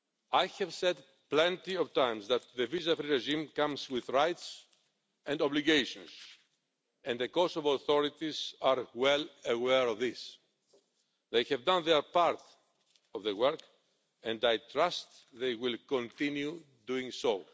I have said plenty of times that the visa free regime comes with rights and obligations, and the Kosovo authorities are well aware of this. They have done their part of the work, and I trust they will continue doing so.